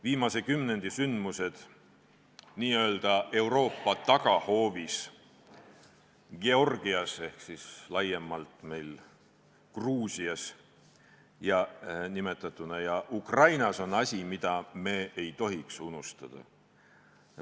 Viimase kümnendi sündmused n-ö Euroopa tagahoovis Georgias ja Ukrainas on asi, mida me ei tohiks unustada.